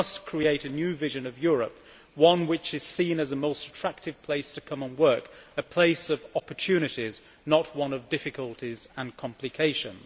We must create a new vision of Europe one which is seen as a most attractive place to come and work and a place of opportunities, not one of difficulties and complications.